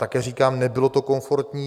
Také říkám, nebylo to komfortní.